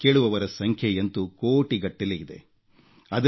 ಇದನ್ನು ಕೇಳುವವರ ಸಂಖ್ಯೆಯಂತೂ ಕೋಟಿಗಟ್ಟಲೆ ಇದೆ